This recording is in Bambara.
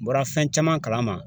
U bɔra fɛn caman kalama.